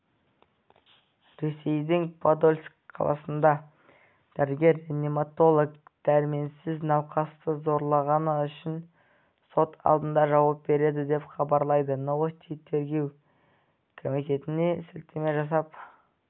ресейдің подольск қаласында дәрігер-реаниматолог дәрменсіз науқасты зорлағаны үшін сот алдында жауап береді деп хабарлайды новости тергеу комитетіне сілтеме жасап